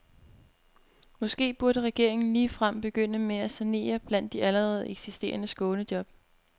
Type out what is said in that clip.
Måske burde regeringen ligefrem begynde med at sanere blandt de allerede eksisterende skånejob.